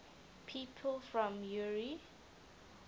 people from eure